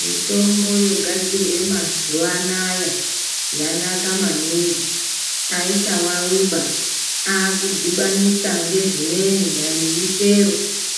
Mitombo yogadzirwa mazuwaanaya yanaka maningi aichawawiba yakudhibanisa nezvimweni dai ngemuchero